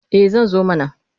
Eh zan zo mana.